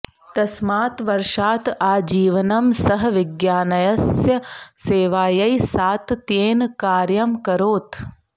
तस्मात् वर्षात् आजीवनं सः विज्ञानस्य सेवायै सातत्येन कार्यमकरोत्